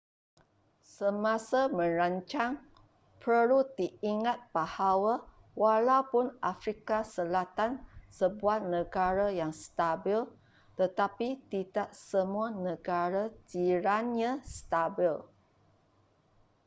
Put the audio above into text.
semasa merancang perlu diingat bahawa walaupun afrika selatan sebuah negara yang stabil tetapi tidak semua negara jirannya stabil